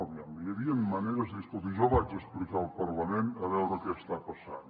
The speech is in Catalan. aviam hi havien maneres de dir escolti jo vaig a explicar al parlament a veure què està passant